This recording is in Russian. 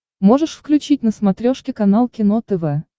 можешь включить на смотрешке канал кино тв